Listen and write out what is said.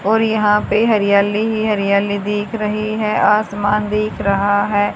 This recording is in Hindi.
और यहां पे हरियाली ही हरियाली दिख रही है आसमान दिख रहा है।